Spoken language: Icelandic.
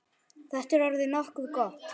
Þetta er orðið nokkuð gott.